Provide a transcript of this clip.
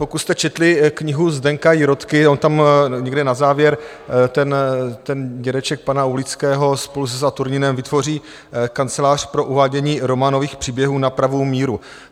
Pokud jste četli knihu Zdeňka Jirotky, on tam někde na závěr ten dědeček pana Oulického spolu se Saturninem vytvoří kancelář pro uvádění románových příběhů na pravou míru.